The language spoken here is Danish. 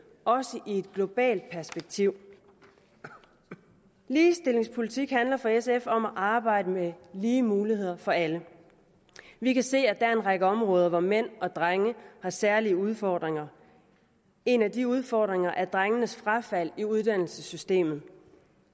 også i et globalt perspektiv ligestillingspolitik handler for sf om at arbejde med lige muligheder for alle vi kan se at der er en række områder hvor mænd og drenge har særlige udfordringer en af de udfordringer er drenges frafald i uddannelsessystemet